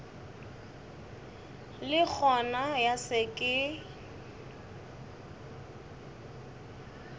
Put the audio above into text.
le gona ya se ke